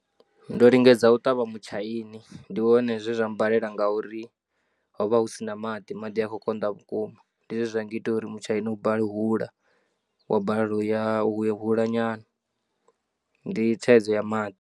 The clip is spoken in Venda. Ndo lingedza u ṱavha mutshaini, ndi wone zwe zwa mmbalela ngauri ho vha hu si na maḓi, maḓi a khou konḓa vhukuma. Ndi zwe zwa ngita uri mutshaini u bale u hula wa balelwa u ya, u hula nyana ndi thaidzo ya maḓi.